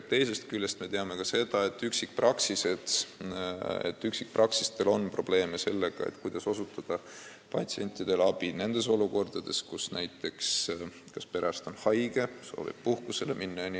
Teisest küljest me teame ka seda, et üksikpraksiste puhul on mure, kuidas osutada inimestele abi siis, kui perearst on haige või soovib puhkusele minna.